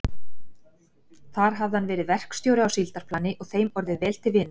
Þar hafði hann verið verkstjóri á síldarplani og þeim orðið vel til vina.